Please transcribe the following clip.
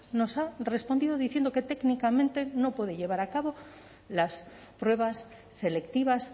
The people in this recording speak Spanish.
nos ha respondido diciendo que técnicamente no puede llevar a cabo las pruebas selectivas